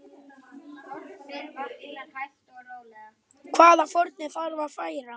Hvaða fórnir þarf að færa?